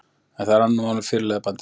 En það er annað mál með fyrirliðabandið.